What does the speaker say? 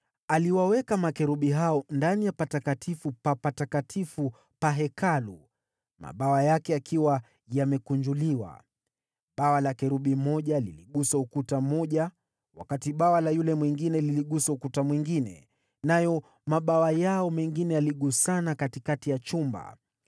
Aliwaweka makerubi hao ndani ya Patakatifu pa Patakatifu pa Hekalu, mabawa yake yakiwa yamekunjuliwa. Bawa la kerubi mmoja liligusa ukuta mmoja, wakati bawa la yule mwingine liligusa ukuta mwingine, nayo mabawa yao mengine yaligusana katikati ya chumba.